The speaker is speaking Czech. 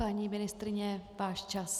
Paní ministryně, váš čas!